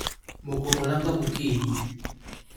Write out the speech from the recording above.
moko olanga mokinyi